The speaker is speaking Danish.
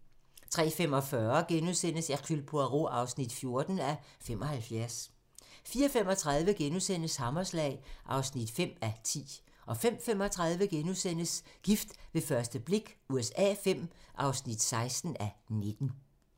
03:45: Hercule Poirot (14:75)* 04:35: Hammerslag (5:10)* 05:35: Gift ved første blik USA V (16:19)*